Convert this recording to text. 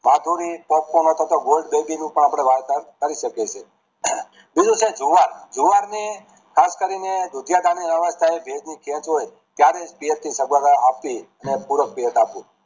માધુરી popcorn પર Gold baby પાર પણ અપડે વાર્તા કરી શકીએ છે બીજું કે જુવાર જુવાર ને ખાસ કરી ને દુધિયા કાળની વ્યવસ્થા પૂરો થયો